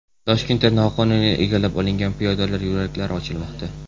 Toshkentda noqonuniy egallab olingan piyodalar yo‘laklari ochilmoqda .